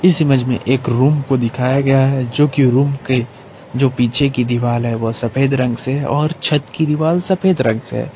इस इमेज में एक रूम को दिखाया गया है जो कि रूम के जो पीछे की दीवाल है वह सफेद रंग से और छत की दीवाल सफेद रंग से है।